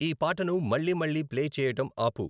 ఈ పాటను మళ్లీ మళ్ళీ ప్లే చేయటం ఆపు